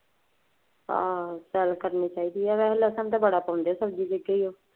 ਅਹ ਸੈਰ ਕਰਨੀ ਚਾਹੀਦੀ। ਲਸਣ ਤਾਂ ਬੜਾ ਪਾਉਂਦੇ ਸਬਜ਼ੀ ਵਿੱਚ ਉਹ।